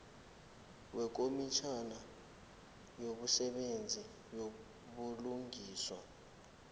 wekomitjhana yemisebenzi yobulungiswa